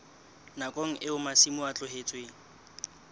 nakong eo masimo a tlohetsweng